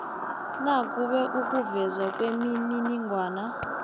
nakube ukuvezwa kwemininingwana